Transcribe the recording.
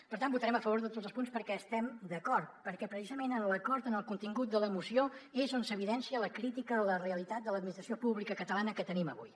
per tant votarem a favor de tots els punts perquè hi estem d’acord perquè precisament en l’acord en el contingut de la moció és on s’evidencia la crítica a la realitat de l’administració pública catalana que tenim avui